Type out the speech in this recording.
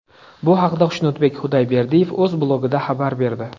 Bu haqda Xushnudbek Xudayberdiyev o‘z blogida xabar berdi .